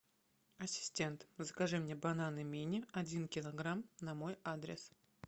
ассистент закажи мне бананы мини один килограмм на мой адрес